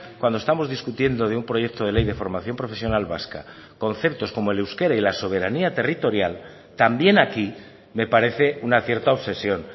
cuando estamos discutiendo de un proyecto de ley de formación profesional vasca conceptos como el euskera y la soberanía territorial también aquí me parece una cierta obsesión